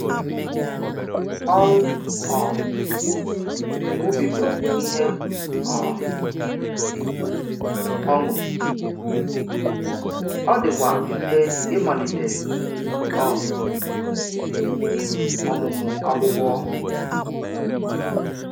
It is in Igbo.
Ọrụ um ùbì bụ ihe um ọṅụ, ọ dịkwa mfe ịmalite um ọmụmụ akwụkwọ.